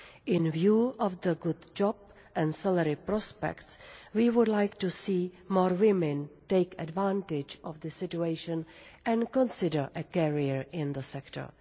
In view of the good job and salary prospects, we would like to see more women take advantage of this situation and consider a career in the sector.